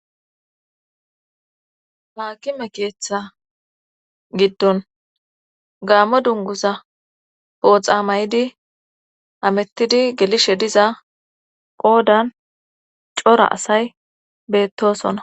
Haakime keeththa giddon gaammo dunguza pooxa may'idi amettidi gelishe diza qoodan cora asay beettosona.